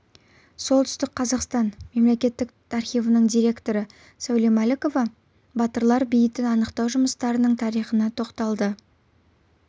солтүстік қазақстан мемлекеттік архивінің директоры сәуле мәлікова батырлар бейітін анықтау жұмыстарының тарихына тоқталды